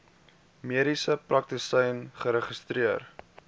mediese praktisyn geregistreer